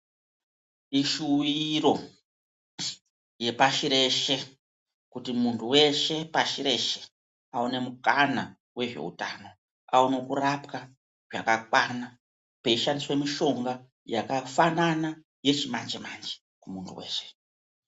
Ishuwiro yepashi rese ,kuti munhu weshe wepasi rese awane mukana wezvehutano, awane kurapwa kwakakwana, peyishandiswe mishonga yakafanana yechimanje manje kumunhu weshe.